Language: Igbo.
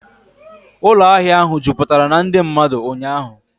Ụlọ ahịa ahụ jupụtara na ndị mmadụ ụnyaahụ